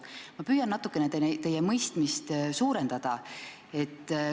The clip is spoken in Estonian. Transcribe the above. Ma püüan natukene teie mõistmist suurendada.